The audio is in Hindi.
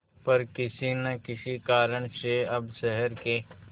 पर किसी न किसी कारण से अब शहर के